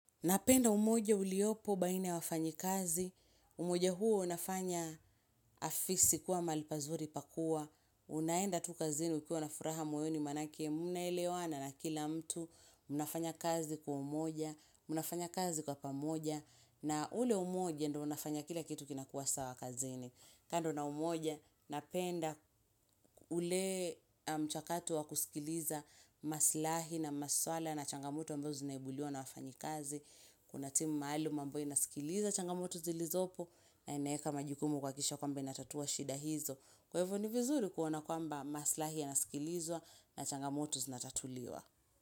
Napenda umoja uliopo baina ya wafanyakazi, umoja huo unafanya afisi kuwa mahali pazuri pa kuwa, unaenda tu kazini ukiwa na furaha moyoni maanake mnaelewana na kila mtu, unafanya kazi kwa umoja, mnafanya kazi kwa pamoja, na ule umoja ndo unafanya kila kitu kinakuwa sawa kazini. Kando na umoja napenda ule mchakato wa kusikiliza maslahi na maswala na changamoto ambazo zinaibuliwa na wafanyikazi. Kuna timu maaluma ambayo inasikiliza changamoto zilizopo na inaweka majukumu kuhakikisha kwamba inatatua shida hizo. Kwa hivyo ni vizuri kuona kwamba maslahi yanasikilizwa na changamoto zinatatuliwa.